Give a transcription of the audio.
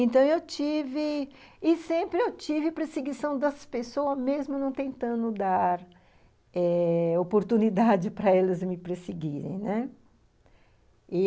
Então, eu tive... E sempre eu tive perseguição das pessoas, mesmo não tentando dar eh oportunidade para elas me perseguirem, né?